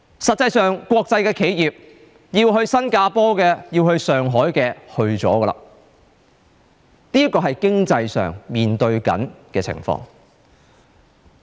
實際上，國際企業要去新加坡的，要去上海的，已經去了。